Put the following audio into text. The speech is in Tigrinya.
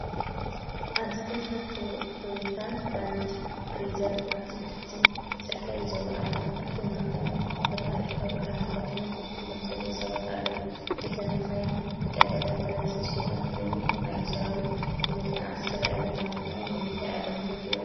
ኣብዚ ክልተ ቶዮታ ላንድ ክሩዘር ኣብቲ ክፉት ጽርግያ ይዝውራ ኣለዋ። ኣብተን መካይን ወተሃደራዊ ክዳን ተኸዲኖም ኮፍ ኢሎም ዘለዉ ሰባት ኣለዉ። እተን መካይን ብቀጠልያን ቀለምን ዝተሸፈና ኮይነን፡ መካይን ሰራዊት ይመስላ። ኣብዚ ዝረኣያ ዘለዋ መካይን ንምንታይ ኣገልግሎት ይውዕላ ?